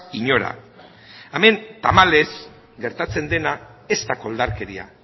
inora hemen tamalez gertatzen dena ez da koldarkeria